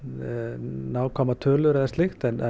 nákvæmar tölur eða slíkt en